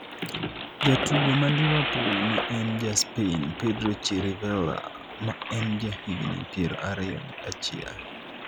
jatugo ma Liverpool ma en ja Spain Pedro Chirivella ma en ja higni piero ariyo gi achiel